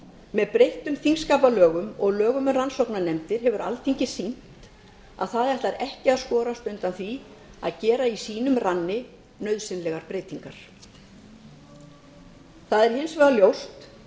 með breyttum þingskapalögum og lögum um rannsóknarnefndir hefur alþingi sýnt að það ætlar ekki að skorast undan því að gera í sínum ranni nauðsynlegar breytingar það er hins vegar ljóst